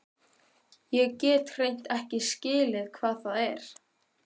Ég get hreint ekki skilið hvað það er.